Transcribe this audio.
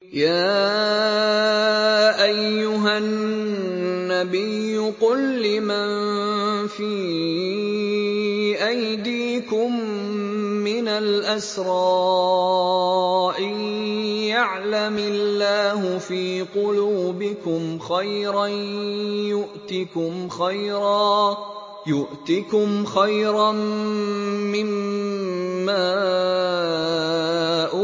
يَا أَيُّهَا النَّبِيُّ قُل لِّمَن فِي أَيْدِيكُم مِّنَ الْأَسْرَىٰ إِن يَعْلَمِ اللَّهُ فِي قُلُوبِكُمْ خَيْرًا يُؤْتِكُمْ خَيْرًا مِّمَّا